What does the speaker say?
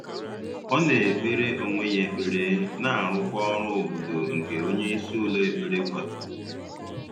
Ọ na-ekpere onwe ya ekpere na arụkwa ọrụ obodo nke onyeisi ụlọ ekpere kwadoro